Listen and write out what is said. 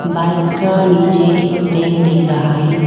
Bike का नीचे एक टेंट दिख रहा है।